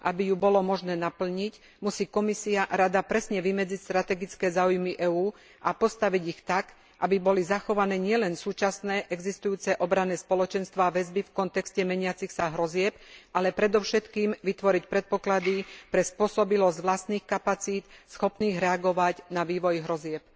Aby ju bolo možné naplniť, musí Komisia a Rada presne vymedziť strategické záujmy EÚ a postaviť ich tak, aby boli zachované nielen súčasné, existujúce, obranné spoločenstvá a väzby v kontexte meniacich sa hrozieb, ale predovšetkým vytvoriť predpoklady pre spôsobilosť vlastných kapacít schopných reagovať na vývoj hrozieb.